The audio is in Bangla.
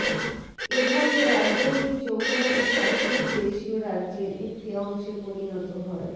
এভাবে রাজৌরি জম্মু ও কাশ্মীর দেশীয় রাজ্যের একটি অংশে পরিণত হয়